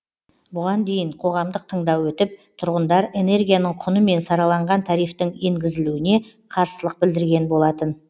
бұған дейін қоғамдық тыңдау өтіп тұрғындар энергияның құны мен сараланған тарифтің енгізілуіне қарсылық білдірген болатын